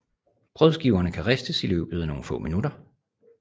Brødskiverne kan ristes i løbet af nogle få minutter